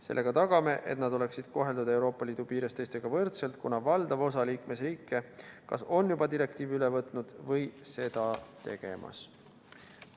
Sellega tagame, et nad oleksid Euroopa Liidu piires koheldud teistega võrdselt, kuna valdav osa liikmesriike kas on juba direktiivi üle võtnud või on seda tegemas.